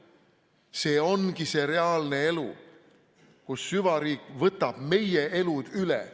See ongi see reaalne elu, kus süvariik võtab meie elud üle.